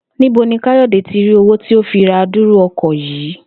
Níbo ni Kayode tí rí owó tí ó fi ra adúrú o̩kò̩ yìí